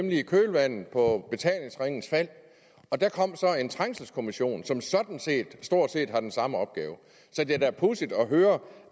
i kølvandet på betalingsringens fald og der kom så en trængselskommission som stort set har den samme opgave så det er da pudsigt at høre